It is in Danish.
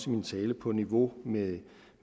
min tale på niveau med